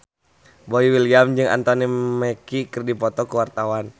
Boy William jeung Anthony Mackie keur dipoto ku wartawan